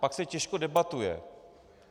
Pak se těžko debatuje.